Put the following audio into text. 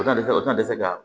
O tɛna se o tɛna se ka